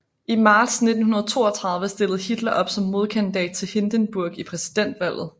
I marts 1932 stillede Hitler op som modkandidat til Hindenburg i præsidentvalget